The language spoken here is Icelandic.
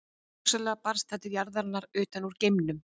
Hugsanlega barst það til jarðarinn utan úr geimnum.